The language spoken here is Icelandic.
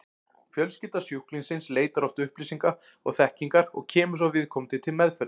Fjölskylda sjúklingsins leitar oft upplýsinga og þekkingar og kemur svo viðkomandi til meðferðar.